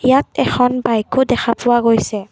ইয়াত এখন বাইকও দেখা পোৱা গৈছে।